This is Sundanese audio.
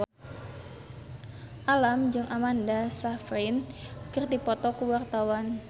Alam jeung Amanda Sayfried keur dipoto ku wartawan